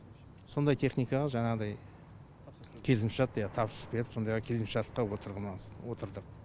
сондай техникаға жаңағыдай келісімшарт иә тапсырыс беріп сондайға келісімшартқа отырдық